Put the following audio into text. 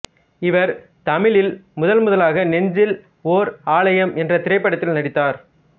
இவர் தமிழில் முதன்முதலாக நெஞ்சில் ஓர் ஆலயம் என்ற திரைப்படத்தில் நடித்தார்